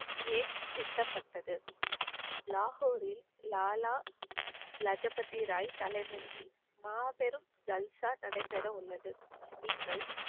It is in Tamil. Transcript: ஏன் சிந்தப்பட்டது? லாகூரில் லாலா லஜபதி ராய் தலைமையில் மாபெரும் ஜல்சா நடைபெற உள்ளது நீங்கள்